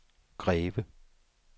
Greve